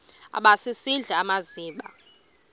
aba sisidl amazimba